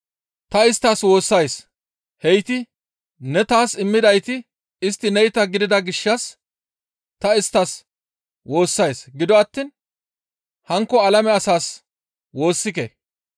«Ta isttas woossays; heyti ne taas immidayti istti neyta gidida gishshas ta isttas woossays; gido attiin hankko alame asaas woossike.